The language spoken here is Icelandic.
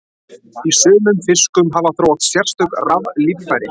Í sumum fiskum hafa þróast sérstök raflíffæri.